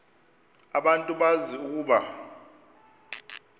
abantu bazi ukuba